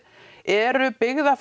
eru